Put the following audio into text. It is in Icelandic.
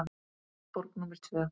Borg númer tvö.